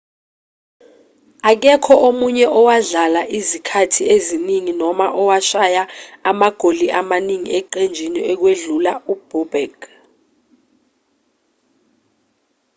akekho omunye owadlala izikhathi eziningi noma owashaya amagoli amaningi eqenjini ukwedlula u-bobek